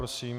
Prosím.